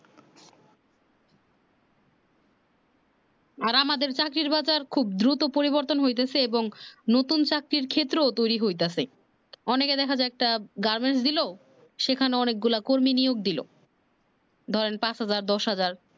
আর আমাদের চাকরির বাজার খুব দ্রুত পরিবর্তন হইতেছে এবং নতুন চাকরির ক্ষেত্রেও তৈরী হইতেছে অনেকে দেখা যায় একটা কামিজ দিলো সেখানে অনেক গুলা কর্মী নিয়োগ দিলো ধরেন পাঁচ হাজার দশ হাজার